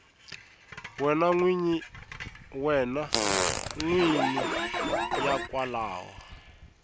wena n wini ya kwalomu